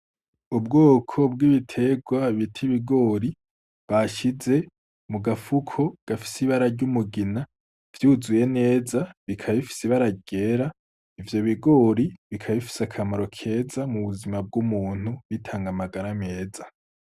Ubwoko bw'ibitegwa bita ibigori bashize mu gafuko gafise ibara ry'umugina vyuzuye neza, bikaba bifise ibara ryera. Ivyo bigori bikaba bifise akamaro keza mu buzima bw'umuntu, bitanga amagara meza.